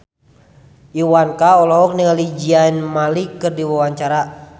Iwa K olohok ningali Zayn Malik keur diwawancara